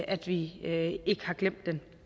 at vi ikke glemmer den